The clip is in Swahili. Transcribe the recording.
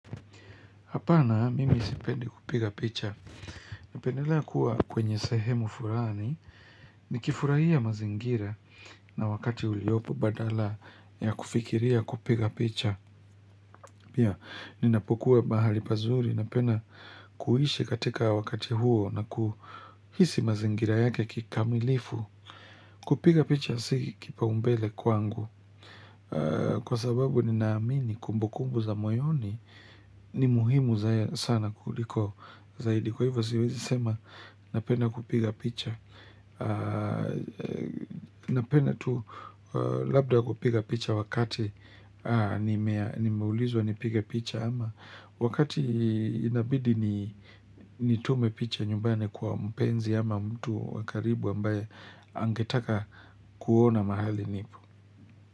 Hapana, mimi sipendi kupiga picha. Napendelea kuwa kwenye sehemu fulani, nikifurahia mazingira na wakati uliopo badala ya kufikiria kupiga picha. Pia, ninapokuwa mahali pazuri, napenda kuishi katika wakati huo na kuhisi mazingira yake kikamilifu, kupiga picha si kipao mbele kwangu. Kwa sababu, ninaamini kumbu kumbu za moyoni ni muhimu sana kuliko. Kwa hivo siwezi sema napenda kupiga picha, napenda tu labda kupiga picha wakati nimeulizwa nipige picha ama Wakati inabidi nitume picha nyumbani kwa mpenzi ama mtu wa karibu ambaye angetaka kuona mahali nipo.